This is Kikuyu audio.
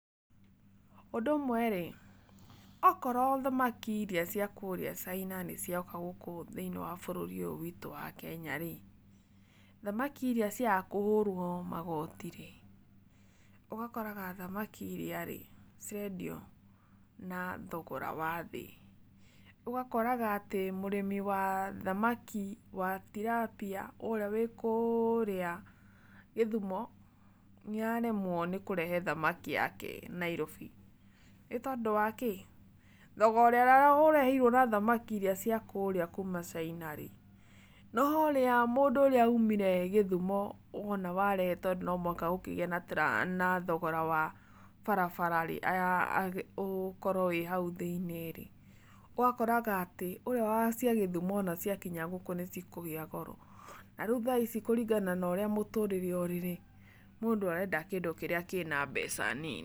Ũndũ ũmwe-rĩ, okorwo thamaki iria cia kũrĩa China nĩcioka gũkũ thĩiniĩ wa bũrũri ũyũ witũ wa Kenya-rĩ, thamaki iria ciaga kũhũrwo magoti-rĩ, ũgakoraga thamaki iria-rĩ, cirendio na thogora wa thĩ. Ũgakoraga atĩ mũrĩmi wa thamaki wa Tilapia, ũrĩa wĩ kũũrĩa Githumo, nĩaremwo nĩ kũrehe thamaki yake Nairobi. Nĩtondũ wa kĩĩ? Thogora ũrĩa ũrehirwo na thamaki iria cia kũrĩa kuma China-rĩ, na haũrĩa mũndũ ũrĩa umire Githumo wona warehe tondũ no mũhaka gũkĩgĩe na na thogora wa barabara-rĩ, aya gũkorwo wĩ hau thĩiniĩ-rĩ, ũgakoraga atĩ, ũrĩa wa cia Gĩthumo wona ciakinya gũkũ nĩcikũgĩa goro. Na rĩu thaa ici kũringana na ũrĩa mũtũrĩre ũrĩ-rĩ, mũndũ arenda kĩndũ kĩrĩa kĩna mbeca nini.